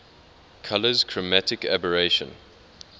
colours chromatic aberration